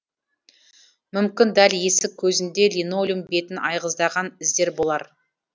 мүмкін дәл есік көзінде линолеум бетін айғыздаған іздер болар